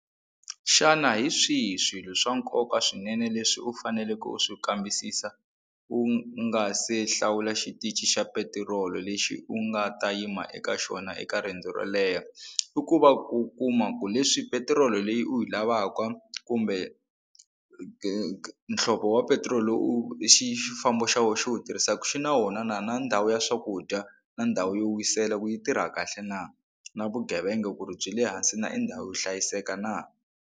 Xana hi swihi swilo swa nkoka swinene leswi u faneleke u swi kambisisa u nga se hlawula xitichi xa petirolo lexi u nga ta yima eka xona eka riendzo ro leha? I ku va ku kuma ku leswi petiroli leyi u yi lavaka kumbe muhlovo wa petiroli u xifambo xa wena xi wu tirhisaka xi na wona na na ndhawu ya swakudya na ndhawu yo wisela ku yi tirha kahle na na vugevenga ku ri byi le hansi na i ndhawu yo hlayiseka na.